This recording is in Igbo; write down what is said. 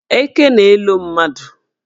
Eke na-elo mmadụ.